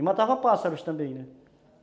E matava pássaros também, né?